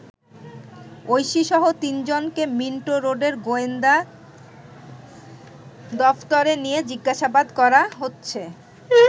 ঐশীসহ তিনজনকে মিন্টো রোডের গোয়েন্দা দফতরে নিয়ে জিজ্ঞাসাবাদ করা হচ্ছে।